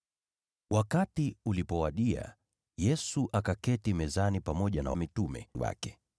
Wakati ulipowadia, Yesu akaketi mezani pamoja na wale mitume wake.